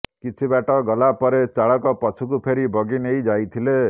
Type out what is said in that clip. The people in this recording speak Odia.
କିଛି ବାଟ ଗଲା ପରେ ଚାଳକ ପଛକୁ ଫେରି ବଗି ନେଇ ଯାଇଥିଲେ